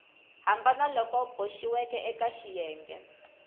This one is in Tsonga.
hambana loku boxiweke eka xiyenge